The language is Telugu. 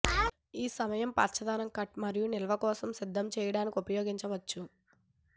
ఈ సమయం పచ్చదనం కట్ మరియు నిల్వ కోసం సిద్ధం చేయడానికి ఉపయోగించవచ్చు